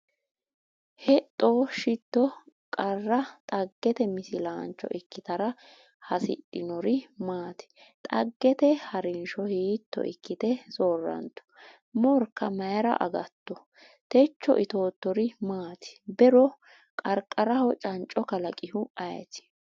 Hexxo Shetto Qara dhaggete misilaancho ikkitara hasidhinori maati? Dhaggete ha’rinsho hiitto ikkite soorrantu? Morka mayra agatto? Techo itoottori maati? Be’ro qarqaraho canco kalaqihu ayeti?